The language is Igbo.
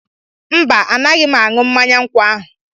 Mba, anaghị m aṅụ mmanya nkwụ ahụ.